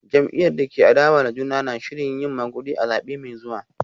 Jam’iyyar da ke adawa da juna na shirin yin magudi a zabe mai zuwa